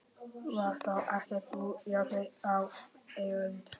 Var þá ekkert úr járni á eiröld?